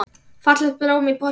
Fallegt blóm í potti grær.